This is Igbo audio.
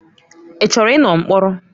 Ị chọrọ ịnọ mkpọrọ?